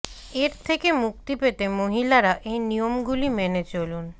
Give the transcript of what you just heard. এর থেকে মুক্তি পেতে মহিলারা এই নিয়মগুলি মেনে চলুন